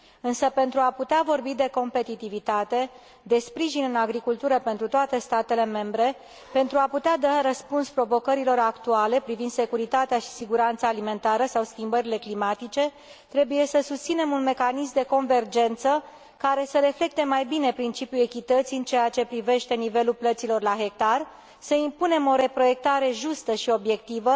Însă, pentru a putea vorbi de competitivitate, de sprijin în agricultură pentru toate statele membre, pentru a putea da un răspuns provocărilor actuale privind securitatea și siguranța alimentară sau schimbările climatice, trebuie să susținem un mecanism de convergență care să reflecte mai bine principiul echității în ceea ce privește nivelul plăților la hectar, să impunem o reproiectare justă și obiectivă,